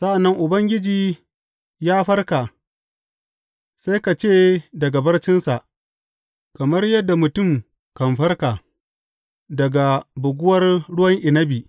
Sa’an nan Ubangiji ya farka sai ka ce daga barcinsa, kamar yadda mutum kan farka daga buguwar ruwan inabi.